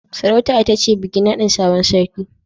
Sarauta ita ce bikin nadin sabon sarki